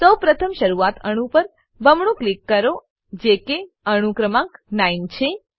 સૌ પ્રથમ શરૂઆતનાં અણુ પર બમણું ક્લિક કરો જે કે અણુ ક્રમાંક 9 છે